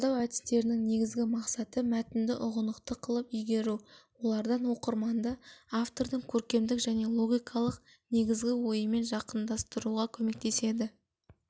талдау әдістерінің негізгі мақсаты мәтінді ұғынықты қылып игеру олар оқырманды автордың көркемдік және логикалық негізгі ойымен жақындастыруға көмектеседі